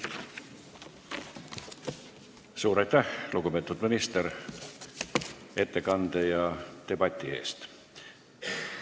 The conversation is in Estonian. Suur aitäh, lugupeetud minister, ettekande ja debati eest!